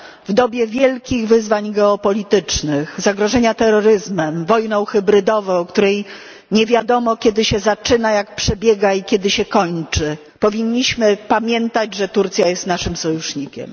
W dobie wielkich wyzwań geopolitycznych, zagrożenia terroryzmem, wojną hybrydową, o której nie wiadomo, kiedy się zaczyna, jak przebiega i kiedy się kończy, powinniśmy pamiętać, że Turcja jest naszym sojusznikiem.